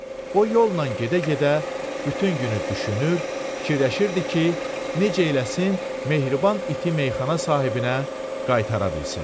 O yolla gedə-gedə bütün günü düşünür, fikirləşirdi ki, necə eləsin mehriban iti meyxana sahibinə qaytara bilsin.